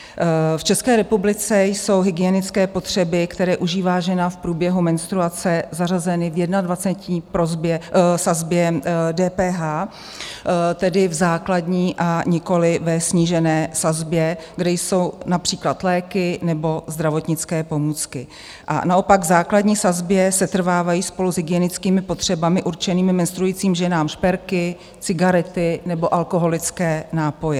V České republice jsou hygienické potřeby, které užívá žena v průběhu menstruace, zařazeny v 21 sazbě DPH, tedy v základní a nikoliv ve snížené sazbě, kde jsou například léky nebo zdravotnické pomůcky, a naopak v základní sazbě setrvávají spolu s hygienickými potřebami určenými menstruujícím ženám šperky, cigarety nebo alkoholické nápoje.